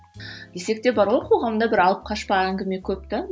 десек те бар ғой қоғамда бір алып қашпа әңгіме көп те